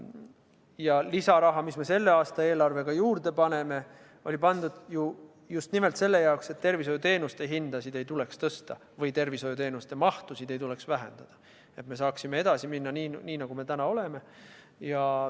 Ja lisaraha, mis me selle aasta eelarvega juurde paneme, on pandud ju just nimelt selleks, et tervishoiuteenuste hindasid ei tuleks tõsta või tervishoiuteenuste mahtusid ei tuleks vähendada ning et me saaksime edasi minna nii, nagu me täna oleme.